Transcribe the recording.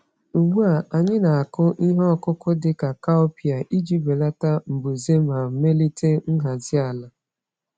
Ugbu a, anyị na-akụ ihe ọkụkụ dị ka cowpea iji belata mbuze ma melite nhazi ala.